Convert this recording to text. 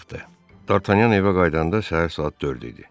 Dartanyan evə qayıdanda səhər saat 4 idi.